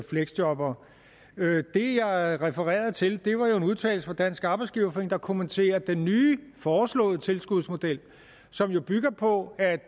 fleksjobbere det jeg refererede til var jo en udtalelse fra dansk arbejdsgiverforening der kommenterer den nye foreslåede tilskudsmodel som jo bygger på at